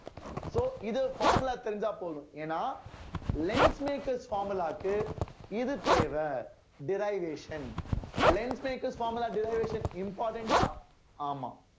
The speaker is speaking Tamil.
so இது formula தெரிஞ்சா போதும் ஏன்னா lens makers formula க்கு இது தேவை derivation lens maker formala deservation important ஆ ஆமாம்